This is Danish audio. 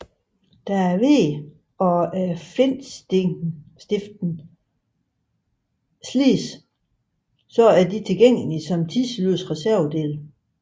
Da vægen og flintestiften slides er disse tilgængelige som tidløse reservedele